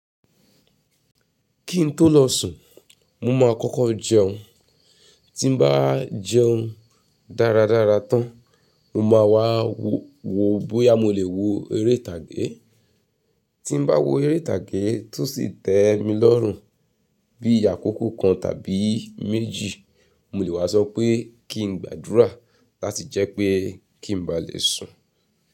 Kí n tó lọ sùn, mo máa kọ́kọ́ jẹun. Tí n bá jẹun dáradára tán, mo máa wá wo bóyá mo lè wo eré ìtàgé. Tí n bá wo eré ìtàgé tó sì tẹ́ mi lọ́rùn bíi àkókò kan tàbí méjì, mo lè wá sọ pé kí n gbàdúrà láti jẹ́ pé kí n bá lè sùn.